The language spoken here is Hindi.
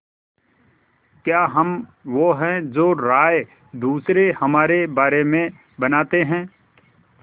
क्या हम वो हैं जो राय दूसरे हमारे बारे में बनाते हैं